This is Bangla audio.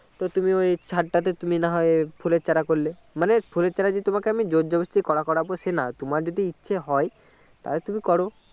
তো তুমি ওই চাদ টাতে তুমি না হয় ফুলের চারা করলে মানে ফুলের চারা যে তোমাকে আমি জোরজবরস্তি করা করবো সে না তোমার যদি ইচ্ছে হয় তাহলে তুমি করো